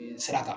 Sira kan